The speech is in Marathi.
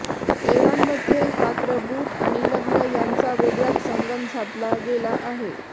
तैवानमध्ये मात्र बूट आणि लग्न यांचा वेगळाच संगम साधला गेला आहे